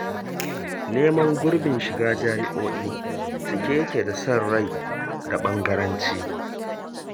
Neman gurbin shiga Jami'o'i cike yake da san rai da ɓangaranci.